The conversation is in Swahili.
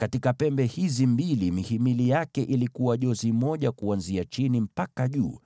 Katika pembe hizi mbili mihimili yake ilikuwa miwili kuanzia chini mpaka juu,